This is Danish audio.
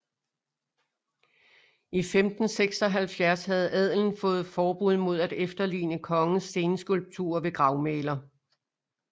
I 1576 havde adelen fået forbud mod at efterligne kongens stenskulpturer ved gravmæler